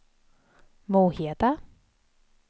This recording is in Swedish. Moheda